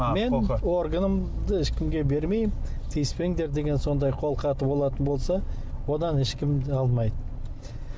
мен органымды ешкімге бермеймін тиіспеңдер деген сондай қолхаты болатын болса одан ешкім де алмайды